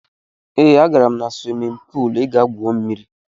Ee, agara m na swimin puul ịga gwu mmiri.